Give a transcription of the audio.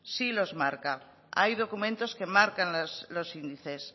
sí los marca hay documentos que marcan los índices